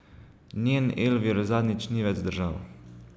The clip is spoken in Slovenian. Njen Elvir zadnjič ni več zdržal.